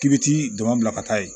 K'i bɛ t'i dama bila ka taa yen